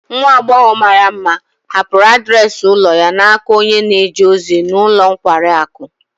Nwa agbọghọ mara mma hapụrụ adreesị ụlọ ya n'aka onye na-eje ozi n'ulo nkwari akụ